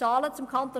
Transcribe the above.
Zahlen zum Kanton